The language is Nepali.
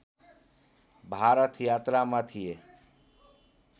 भारत यात्रामा थिए